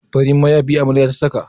Farin mayafi amaryar ta saka.